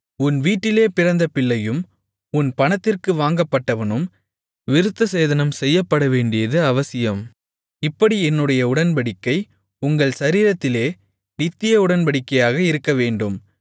உன் வீட்டிலே பிறந்த பிள்ளையும் உன் பணத்திற்கு வாங்கப்பட்டவனும் விருத்தசேதனம் செய்யப்படவேண்டியது அவசியம் இப்படி என்னுடைய உடன்படிக்கை உங்கள் சரீரத்திலே நித்திய உடன்படிக்கையாக இருக்கவேண்டும்